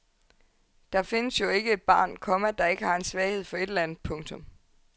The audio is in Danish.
Der findes jo ikke et barn, komma der ikke har en svaghed for et eller andet. punktum